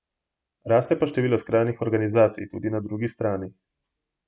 Raste pa število skrajnih organizacij tudi na drugi strani.